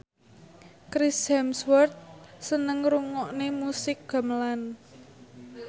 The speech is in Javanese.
Chris Hemsworth seneng ngrungokne musik gamelan